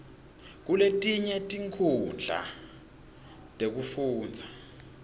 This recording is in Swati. kuletinye tinkhundla tekufundza